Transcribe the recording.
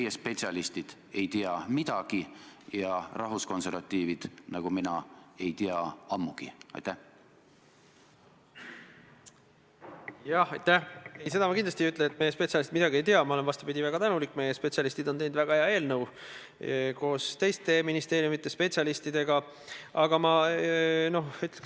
Ja seetõttu küsiksin ma teise küsimusena teilt väga üldiselt, et kuidas te n-ö tuleviku mõttes seda olukorda vaatate: kes ja kuidas peaks tegelikult vastutama selle eest, et seaduseelnõude menetlemisel oleks mõjutatud sihtgrupid kindlasti kaasatud?